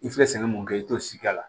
I filɛ sɛgɛn mun kɛ i t'o si k'a la